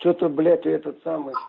что-то блять этот самый